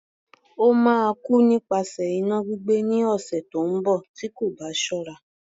Ó máa kú nípasẹ̀ iná gbígbé ni, lọ́sẹ̀ tí ó ń bọ̀ tí kò bá ṣọ́ra.